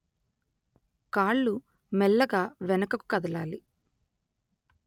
కాళ్ళు మెల్లగా వెనుకకు కదలాలి